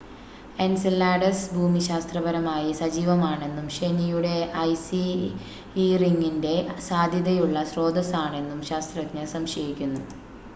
Enceladus ഭൂമിശാസ്ത്രപരമായി സജീവമാണെന്നും ശനിയുടെ ഐസി ഇ റിങ്ങിൻ്റെ സാധ്യതയുള്ള സ്രോതസാണെന്നും ശാസ്ത്രജ്ഞർ സംശയിക്കുന്നു